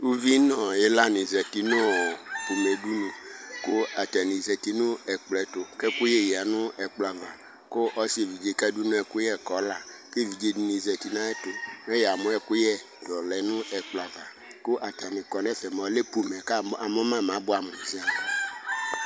Uvi nu ilani zati nɔ pomɛdunu , ku atani zati nu ɛkplɔ ɛtu, kɛkuye yanu ɛkplɔ 'ava, k'ɔssi evidze kadunu ɛkuyɛ k'ola Evidze dini za n'ayetu Meyamu ekuyɛ t'ɔlɛ n ɛkplɔ ava ,ku atani kɔ n'ɛfɛ, molɛ pomɛ, kamuma mabuɛmu ziaa